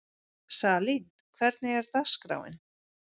Salín, hvernig er dagskráin?